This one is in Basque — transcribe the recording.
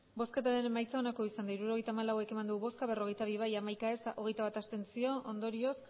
hirurogeita hamalau eman dugu bozka berrogeita bi bai hamaika ez hogeita bat abstentzio ondorioz